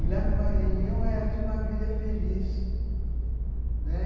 E lá no Maranhão ela tinha uma vida feliz, né?